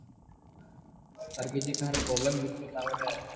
ଅର୍ ଯଦି କାହାର କିଛି ପ୍ରୋବ୍ଲେମ୍ ହେଲା ବୋଲେ